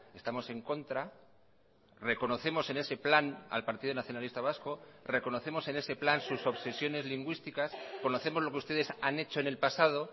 estamos en contra reconocemos en ese plan al partido nacionalista vasco reconocemos en ese plan sus obsesiones lingüísticas conocemos lo que ustedes han hecho en el pasado